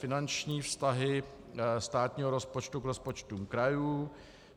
Finanční vztahy státního rozpočtu k rozpočtům krajů